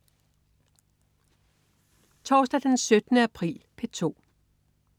Torsdag den 17. april - P2: